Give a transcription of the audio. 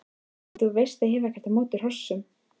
Og þú veist að ég hef ekkert á móti hrossum.